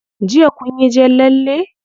Jiya kunyi jan lalle?